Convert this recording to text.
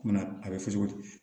a bɛ fɔ cogo di